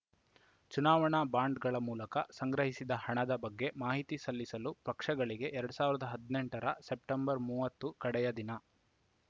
ಚುನಾವಣಾ ಬಾಂಡ್‌ಗಳ ಮೂಲಕ ಸಂಗ್ರಹಿಸಿದ ಹಣದ ಬಗ್ಗೆ ಮಾಹಿತಿ ಸಲ್ಲಿಸಲು ಪಕ್ಷಗಳಿಗೆ ಎರಡ್ ಸಾವಿರದ ಹದಿನೆಂಟರ ಸೆಪ್ಟೆಂಬರ್ ಮೂವತ್ತು ಕಡೆಯ ದಿನ